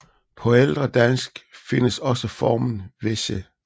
På ældre dansk findes også formen Vese